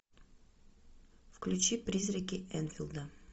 включи призраки энфилда